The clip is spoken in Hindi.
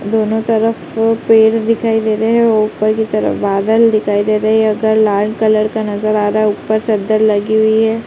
दोनों तरफ से पेड़ दिखाई दे रहे हैं और ऊपर की तरफ बादल दिखाई दे रहे हैं। ये घर लाल कलर का नजर आ रहा है। ऊपर चद्दर लगी हुई है। ।